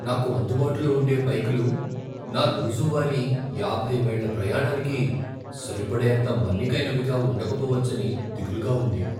నాకు అందుబాటులో ఉండే బైకులు నా రోజువారీ యాభై మైళ్ల ప్రయాణానికి సరిపడేంత మన్నికైనవిగా ఉండకపోవచ్చని దిగులుగా ఉంది.